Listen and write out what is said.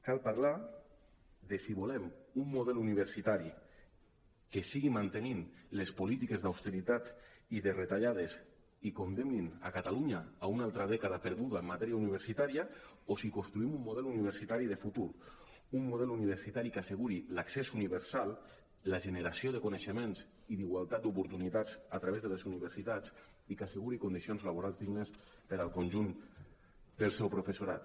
cal parlar de si volem un model universitari que segueixi mantenint les políti·ques d’austeritat i de retallades i condemnin catalunya a una altra dècada perduda en matèria universitària o si construïm un model universitari de futur un model universitari que asseguri l’accés universal la generació de coneixements i d’igualtat d’oportunitats a través de les universitats i que asseguri condicions laborals dignes per al conjunt del seu professorat